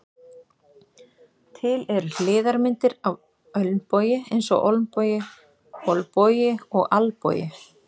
Til eru hliðarmyndir af ölnbogi eins og olnbogi, olbogi og albogi.